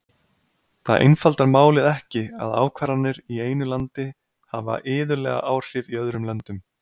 Það einfaldar málið ekki að ákvarðanir í einu landi hafa iðulega áhrif í öðrum löndum.